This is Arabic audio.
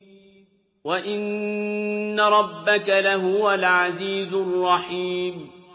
وَإِنَّ رَبَّكَ لَهُوَ الْعَزِيزُ الرَّحِيمُ